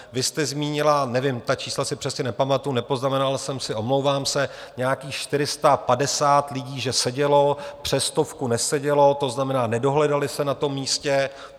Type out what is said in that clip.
Vy jste zmínila, nevím, ta čísla si přesně nepamatuji, nepoznamenal jsem si, omlouvám se, nějakých 450 lidí že sedělo, přes stovku nesedělo, to znamená, nedohledali se na tom místě.